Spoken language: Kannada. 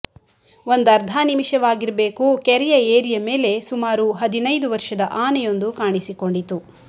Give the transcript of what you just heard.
ಒಂದರ್ಧ ನಿಮಿಷವಾಗಿರಬೇಕು ಕೆರೆಯ ಏರಿಯ ಮೇಲೆ ಸುಮಾರು ಹದಿನೈದು ವರ್ಷದ ಆನೆಯೊಂದು ಕಾಣಿಸಿಕೊಂಡಿತು